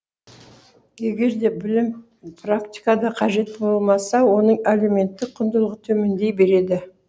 егер де білім практикада қажет болмаса оның әлеуметтік құндылығы төмендей береді